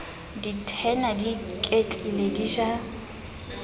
dithena di iketlile di ja